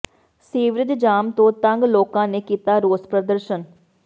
sewerage jam ਤੋਂ ਤੰਗ ਲੋਕਾਂ ਨੇ ਕੀਤਾ ਰੋਸ ਪ੍ਰਦਰਸ਼ਨ